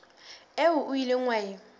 eo o ileng wa e